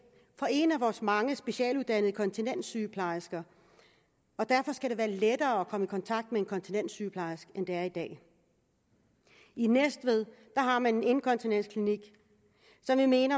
fra en af vores mange specialuddannede kontinenssygeplejersker og derfor skal det være lettere at komme i kontakt med en kontinenssygeplejerske end det er i dag i næstved har man en inkontinensklinik sådan en